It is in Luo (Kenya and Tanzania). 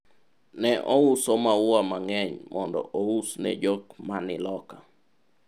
ne ouso maua mang'eny mondo ous ne jok mani loka